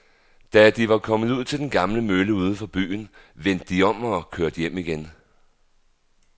Da de var kommet ud til den gamle mølle uden for byen, vendte de om og kørte hjem igen.